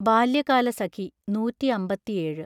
ബാല്യകാലസഖി (നൂറ്റിഅമ്പത്തിഏഴ് )